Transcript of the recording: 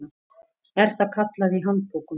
er það kallað í handbókum.